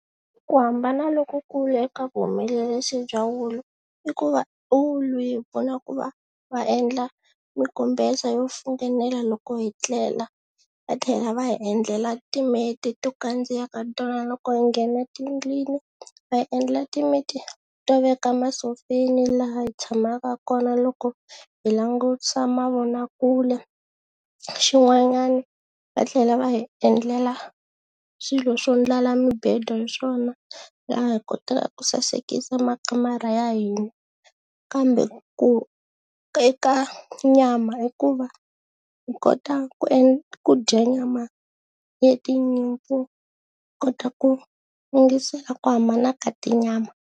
Ku hambana lokukulu eka vuhumelerisi bya wulu i ku va wulu yi hi pfuna ku va va endla minkumbesa yo funengela loko hi tlela va tlhela va hi endlela timeti to kandziya ka tona loko hi nghena tindlwini, va hi endla timeti to veka masofeni laha hi tshamaka kona loko hi langutisa mavonakule, xin'wanyana va tlhela va hi endlela swilo swo ndlala mibedo hi swona laha hi kotaka ku sasekisa makamara ya hina kambe ku eka nyama i ku va hi kota ku ku dya nyama ya tinyimpfu hi kota ku ku hambana ka tinyama.